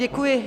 Děkuji.